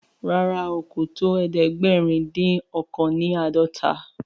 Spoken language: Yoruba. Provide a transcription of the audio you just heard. ràrá kò tó ẹdẹgbẹrin odin ọkan ni ãdọta.